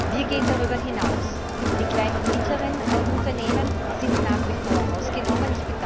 Wir gehen darüber hinaus. Die kleinen und mittleren Unternehmen sind nach wie vor ausgenommen.